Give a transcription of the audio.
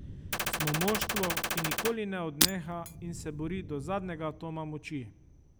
Smo moštvo, ki nikoli ne odneha in se bori do zadnjega atoma moči.